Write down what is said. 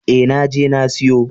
E, na je na siyo.